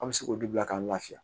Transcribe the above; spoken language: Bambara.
A bɛ se k'olu bila k'an lafiya